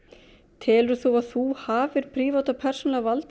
telur þú að þú hafir prívat og persónulega valdið